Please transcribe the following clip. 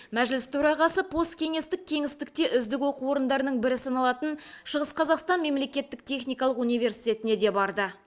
мәжіліс төрағасы посткеңестік кеңістікте үздік оқу орындарының бірі саналатын шығыс қазақстан мемлекеттік техникалық университетіне де барды